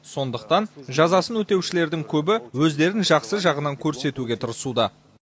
сондықтан жазасын өтеушілердің көбі өздерін жақсы жағынан көрсетуге тырысуда